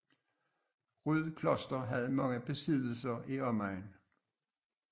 Ryd Kloster havde mange besiddelser i omegnen